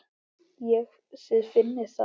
Þið finnið það?